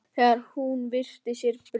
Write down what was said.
Þegar hún virti fyrir sér bruna